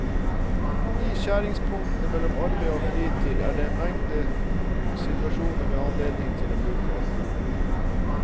I skjæringspunktene mellom arbeid og fritid er det en mengde situasjoner med anledninger til å bruke alkohol.